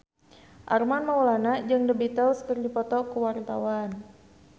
Armand Maulana jeung The Beatles keur dipoto ku wartawan